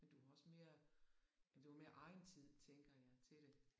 Men du har også mere ja du har mere egentid tænker jeg til det